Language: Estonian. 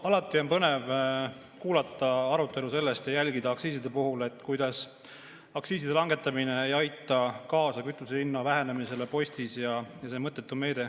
Alati on põnev kuulata arutelu aktsiisidest ja jälgida selle puhul, kuidas aktsiiside langetamine ei aita kaasa kütusehinna vähenemisele postil ja et see on mõttetu meede.